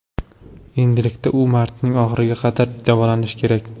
Endilikda u martning oxiriga qadar davolanishi kerak.